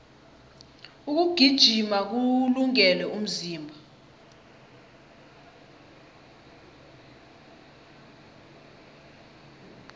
ukugijima kuwulungele umzimba